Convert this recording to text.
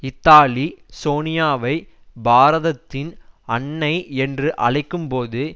Italy சோனியாவை பாரதத்தின் அன்னை என்று அழைக்கும்போது